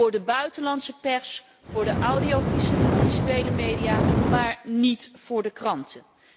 Voor de buitenlandse pers, voor de audiovisuele media, maar niet voor de kranten.